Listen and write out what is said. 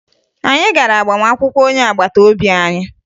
Anyị gara agbamakwụkwọ onye agbata obi anyị